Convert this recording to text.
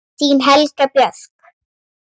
Þín Helga Björk.